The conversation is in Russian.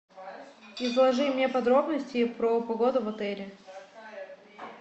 изложи мне подробности про погоду в отеле